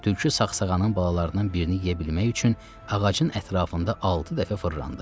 Tülkü saxsağanın balalarından birini yeyə bilmək üçün ağacın ətrafında altı dəfə fırlandı.